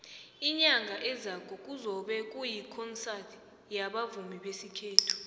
inyanga ezako kuzobe kuyikhonsadi yabavumi besikhethu